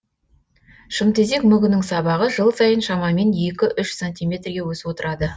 шымтезек мүгінің сабағы жыл сайын шамамен екі үш сантиметрге өсіп отырады